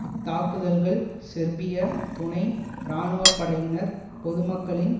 இத்தாக்குதல்கள் சேர்பிய துணை இராணுவப்படையினர் பொதுமக்களின்